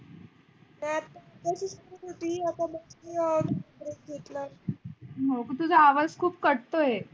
तुझा आवाज़ खूप कटतोय.